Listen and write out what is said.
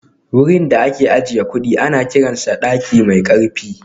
Wurin da ake ajiye kudi ana kiransa daki mai karfi